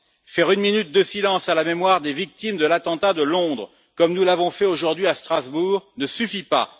Faire une minute de silence à la mémoire des victimes de l'attentat de Londres, comme nous l'avons fait aujourd'hui à Strasbourg, ne suffit pas.